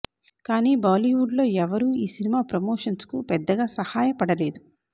కానీ బాలీవుడ్ లో ఎవరు ఈ సినిమా ప్రమోషన్స్ కు పెద్దగా సహయపడలేదు